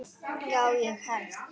Já, ég hélt.